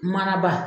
Manaba